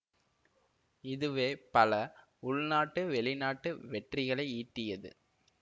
இதுவே பல உள்நாட்டு வெளிநாட்டு வெற்றிகளை ஈட்டியது